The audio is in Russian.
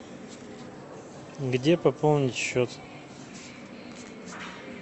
где пополнить счет